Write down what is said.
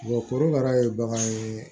korokara ye bagan ye